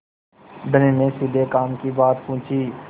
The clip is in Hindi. धनी ने सीधे काम की बात पूछी